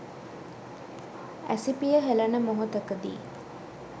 ඇසිපිය හෙලන මොහොතකදී